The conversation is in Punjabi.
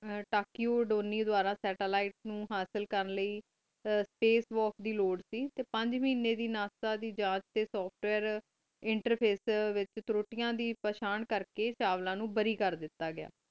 ਤਾਕਿਓ ਦੋਨੀਸ ਵਾਰ ਸੈਤਾਲੀਤੇ ਨੂ ਹਾਸਿਲ ਕਰਨ ਲੀਏ ਆ ਸਪੇਸ ਵੋਲਕ ਦੀ ਲੋਆਦ ਕ ਟੀ ਪੰਜ ਮੀਨੀ ਦੀ ਨਾਸਾ ਦੀ ਝਾਤ ਟੀ ਸੋਫਟਵੇਅਰ ਇੰਟਰਫੇਸ ਵਿਚ ਤ੍ਰੁਤਿਆ ਦੀ ਪੋਹ੍ਚਨ ਕਰ ਕ ਚਾਵਲਾ ਨੂ ਬਾਰੀ ਕਰ ਦਿਤਾ ਗਿਆ